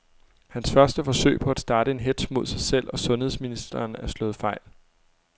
Hans første forsøg på at starte en hetz mod sig selv og sundheds ministeren er slået fejl.